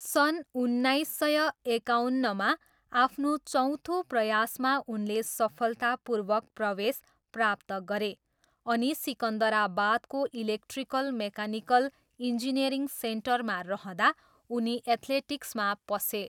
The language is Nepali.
सन् उन्नाइस सय एकाउन्नमा आफ्नो चौथो प्रयासमा उनले सफलतापूर्वक प्रवेश प्राप्त गरे अनि सिकन्दराबादको इलेक्ट्रिकल मेकानिकल इन्जिनियरिङ सेन्टरमा रहँदा उनी एथ्लेटिक्समा पसे।